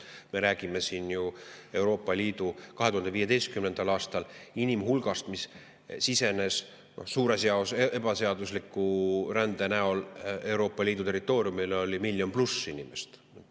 Me räägime inimhulgast, mis sisenes 2015. aastal suures osas ebaseadusliku rände korras Euroopa Liidu territooriumile, see oli miljon pluss inimest.